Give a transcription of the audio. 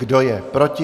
Kdo je proti?